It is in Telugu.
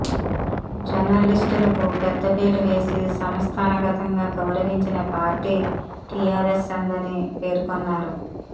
జర్నలిస్టులకు పెద్దపీట వేసి సంస్థానగతంగా గౌరవించిన పార్టీ టీఆర్ఎస్ దని పేర్కొన్నారు